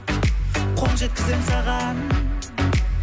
қол жеткіземін саған